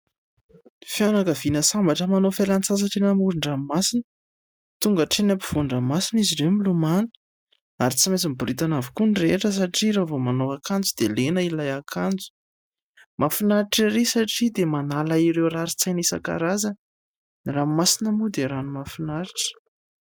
Fianakaviana sambatra manao fialan-tsasatra eny amoron-dranomasina. Tonga hatreny ampovoan-dranomasina izy ireo milomano ary tsy maintsy miboridana avokoa ny rehetra satria raha vao manao akanjo dia lena ilay akanjo. Mahafinaritra erỳ satria dia manala ireo rarin-tsaina isan-karazany. Ny ranomasina moa dia rano mahafinaritra.